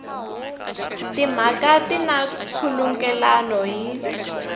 timhaka swi na nkhulukelano hi